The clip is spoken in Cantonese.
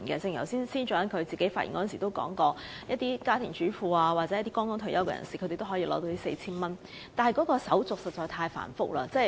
正如司長剛才發言時也提到，家庭主婦和剛退休的人士也可領取這 4,000 元，但手續實在太繁複。